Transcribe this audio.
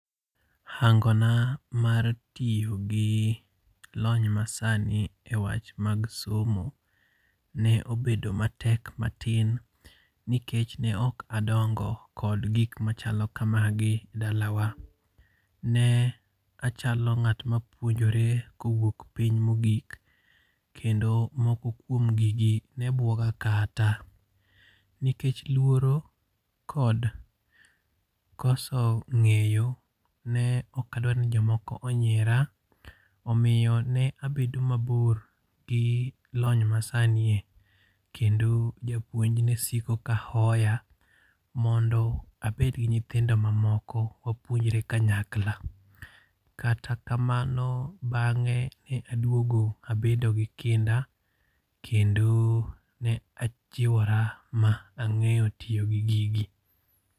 Hangona mar tiyo gi lony masani e wach mag somo ne obedo matek matin nikech ne ok adongo kod gi machal kamagi dalawa, ne achalo nga't ma puonjore kowuok piny mogik kendo moko kuomgi ne buoga kata nikech luoro kod koso ng'eyo ne ok adwa ni jomoko onyiera, omiyo ne abedo mabor gi lony masanie kendo japuonj nesiko ka hoya mondo abed gi nyithindo mamoko wapuonjre kanyakla, kata kamano bang'enge ne aduongo abedo gi kinda kendo ne ajiwora ma ang'eyo tiyo gi gigi